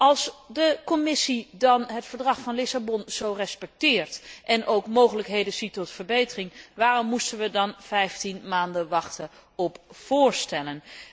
Als de Commissie dan het Verdrag van Lissabon zo respecteert en ook mogelijkheden ziet tot verbetering, waarom moesten we dan vijftien maanden wachten op voorstellen?